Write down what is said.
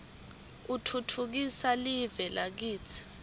utfutfukisa live lakitsi